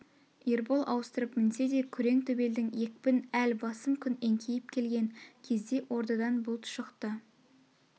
ербол ауыстырып мінсе де күрең төбелдің екпін әл басым күн еңкейп келген кезде ордадан бұлт шықты